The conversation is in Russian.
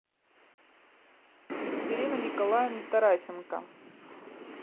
екатерина николаевна тарасенко